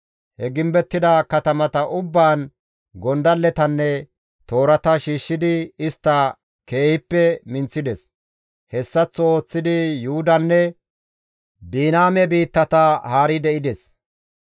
He gimbettida katamata ubbaan gondalletanne toorata shiishshidi istta keehippe minththides; hessaththo ooththidi Yuhudanne Biniyaame biittata haari de7ides.